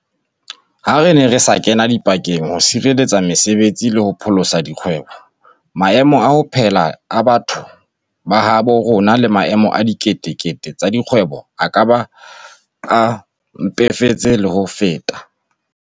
Ha re ne re sa ka ra kena dipakeng ho sireletsa mese betsi le ho pholosa dikgwebo, maemo a ho phela a batho ba habo rona le maemo a dikete kete tsa dikgwebo a ka be a mpefetse le ho feta.